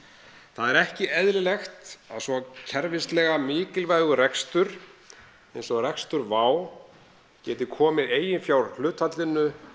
það er ekki eðlilegt að svo kerfislega mikilvægur rekstur eins og rekstur WOW geti komið eiginfjárhlutfalli